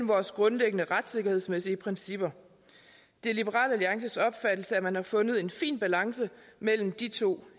vores grundlæggende retssikkerhedsmæssige principper det er liberal alliances opfattelse at man har fundet en fin balance mellem de to